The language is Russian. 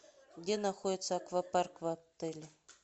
где находится аквапарк в отеле